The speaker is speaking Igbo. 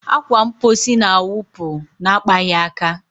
Akwa mposi na-awụpụ na-akpaghị aka.